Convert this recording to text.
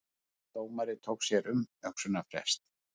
Dómari tók sér umhugsunarfrest